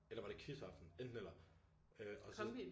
Eller var det kiss aften? Enten eller øh og så